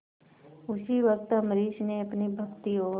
उसी वक्त अम्बरीश ने अपनी भक्ति और